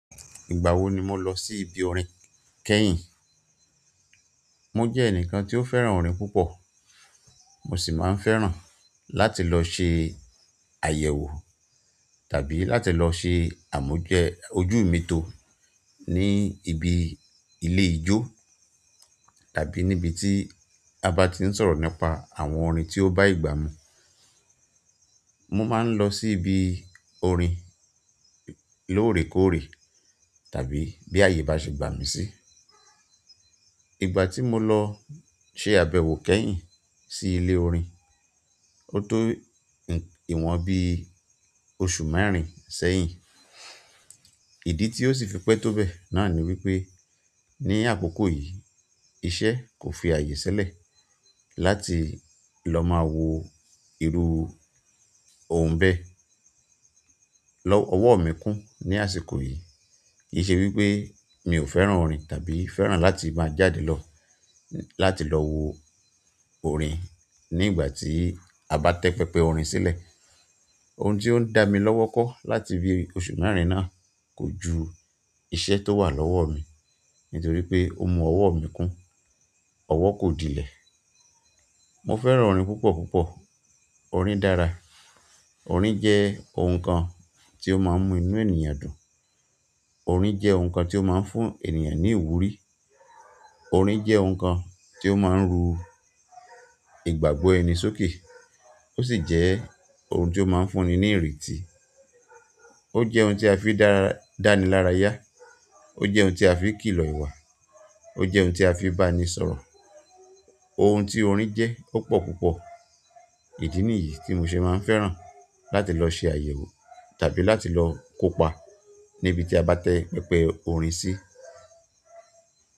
Ìgbà wo ni mo lọ sí ibi orin kẹ́yìn? Mo jẹ́ ẹnìkan tí ó fẹ́ràn orin púpọ̀. Mo sì máa ń fẹ́ràn láti lọ ṣe àyẹ̀wò tàbí láti lọ ṣe àmújẹ ojú mi tó ní ibi ilé ijó tàbí níbi tí a bá ti ń sọ̀rọ̀ nípa àwọn orin tí ó bá ìgbà mú. Mo máa ń lọ sí ibi orin lóòrèkóòrè tàbí bí àyè bá ṣe gbà mí sí. Ìgbà tí mo lọ ṣe àbẹ̀wò kẹ́yìn sí ilé orin, ó tó ìwọ̀n bí oṣù mẹ́rin sẹ́yìn. Ìdí tí ó sì fi pẹ́ tó bẹ́ẹ̀ náà ni wípé ní àkókò yìí iṣẹ́ kò fi àyè silẹ̀ láti lọ máa wo irú ohun bẹ́ẹ̀. Lọ́wọ́ ọwọ́ mi kún ní àsìkò yìí. Kì í ṣe wípé mi ò fẹ́ràn orin tàbí fẹ́ràn láti máa jáde lọ láti lọ wo orin nígbà tí a bá tẹ tẹpẹpẹ orin sílẹ̀. Ohun tí ó ń dá mi lọ́wọ́kọ́ láti bi oṣù mẹ́rin náà kò ju iṣẹ́ tó wà lọ́wọ́ mi nítorí pé ó mú ọwọ́ mi kún. Ọwọ́ kò dílẹ̀. Mo fẹ́ràn orin púpọ̀ púpọ̀. Orin dára. Orin jẹ́ ohun kan tí ó máa ń mú inú ènìyàn dùn. Orin jẹ́ ohun kan tí ó máa ń fún ènìyàn ní ìwúrí. Orin jẹ́ ohun kan tí ó máa ń ru ìgbàgbọ́ ẹni sókè. Ó sì jẹ́ ohun tí ó máa ń fún ni ní ìretí. Ó jẹ́ ohun tí a fi dára-dáni lára yá. Ó jẹ́ ohun tí a fi kìlọ̀ ìwà. Ó jẹ́ ohun tí a fi bá ni sọ̀rọ̀. Ohun tí orin jẹ́ ó pọ̀ púpọ̀. Ìdí nìyí tí mo ṣe máa ń fẹ́ràn láti lọ ṣe àyẹ̀wò tàbí láti lọ kópa níbi tí a bá tẹ pẹpẹ orin sí.